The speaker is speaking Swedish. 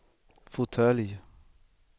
fåtölj